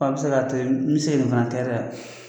i bɛ se ka to ye n bɛ se nin fana kɛ